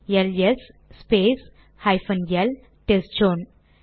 LS space hyphen L test zone